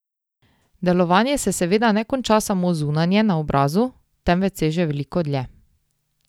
Delovanje se seveda ne konča samo zunanje, na obrazu, temveč seže veliko dlje.